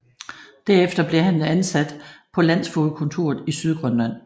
Derefter blev han ansat på landsfogedkontoret i Sydgrønland